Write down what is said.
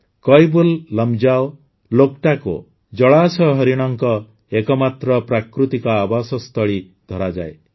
କଇବୁଲ୍ଲମଜାଓ ଲୋକଟାକୋ ଜଳାଶୟ ହରିଣଙ୍କ ଏକମାତ୍ର ପ୍ରାକୃତିକ ଆବାସସ୍ଥଳୀ ଧରାଯାଏ